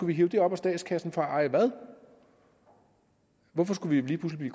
vi hive det op af statskassen for at eje hvad hvorfor skulle vi lige pludselig